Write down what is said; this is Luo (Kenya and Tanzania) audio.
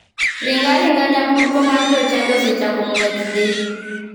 Ring aringa nyamburko mar jochadi osechako ng'wech dhi.